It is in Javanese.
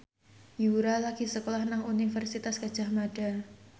Yura lagi sekolah nang Universitas Gadjah Mada